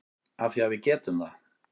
Af því að við getum það.